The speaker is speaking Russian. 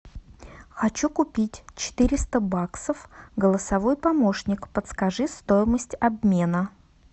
хочу купить четыреста баксов голосовой помощник подскажи стоимость обмена